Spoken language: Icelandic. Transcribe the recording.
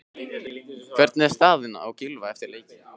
Hvernig er staðan á Gylfa eftir leikinn?